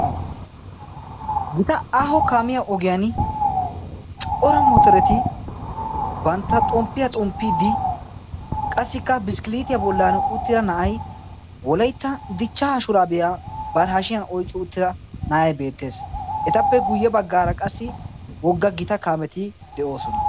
Gita aaho kaamiya ogiyan cuora motoreti bantta xomppiyaa xomppiiddi qassikka biskkiliitiyaa bollan uttida na'ay oleitta dichcha ashuraabiyaa bari hashiyan oyqqi uttida na'ay beettees. etappe guyye baggaara qassi wogga gita kaameti de'oosona.